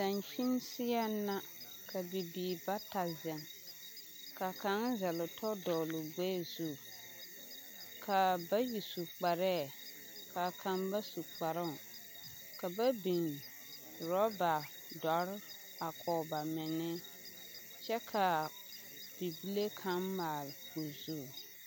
Dankyini seɛŋ la ka bibiiri bata zeŋ ka kaŋ zɛlle o tasoba dɔgle o gbɛɛ zu ka a bayi su kparɛɛ ka kaŋ ba su kparoŋ ka ba biŋ ɔrɔɔba dɔre a kɔge ba meŋne kyɛ ka bibile kaŋ maale o zu.